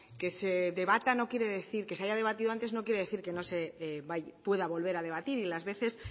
que se haya debatido antes no quiere decir que no se pueda volver a debatir y las veces